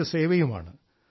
ദേശസേവയുമാണ്